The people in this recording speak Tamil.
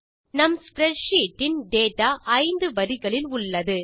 நம் ஸ்ப்ரெட்ஷீட் இன் டேட்டா 5 வரிகளில் உள்ளது